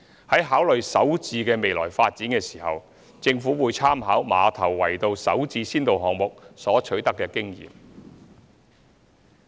在考慮"首置"的未來發展時，政府會參考馬頭圍道"首置"先導項目所取得的經驗。